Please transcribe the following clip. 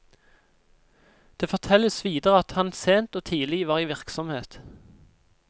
Det fortelles videre at han sent og tidlig var i virksomhet.